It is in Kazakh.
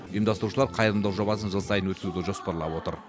ұйымдастырушылар қайырымдылық жобасын жыл сайын өткізуді жоспарлап отыр